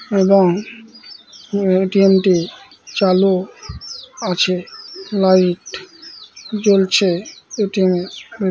এবং এ.টি.এম. টি চালু আছে লাইট জ্বলছে এ.টি.এম. এর ভে--